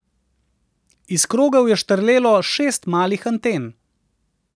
Iz krogel je štrlelo šest malih anten.